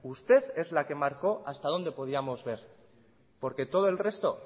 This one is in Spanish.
usted es la que marcó hasta dónde podíamos ver porque todo el resto